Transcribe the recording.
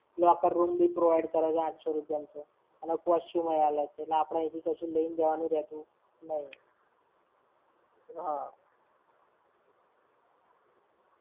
locker room બી provide કરે છે આંઠસો રૂપિયા માં તો. અને costume હોય અલગ થી એટલે આપણે અઈથી કશું લઈને જવાનું રેતુ નઈ. હા.